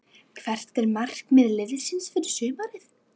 Hvert er markmið liðsins fyrir sumarið?